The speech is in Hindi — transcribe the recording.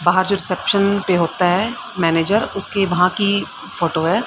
बाहर जो रिसेप्शन पे होता है मैनेजर उसके वहां की फोटो है।